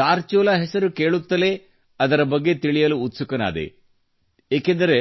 ಧಾರಚುಲಾ ಹೆಸರು ಕೇಳುತ್ತಲೇ ಅದರ ಬಗ್ಗೆ ತಿಳಿಯಲು ಉತ್ಸುಕನಾದೆ ಏಕೆಂದರೆ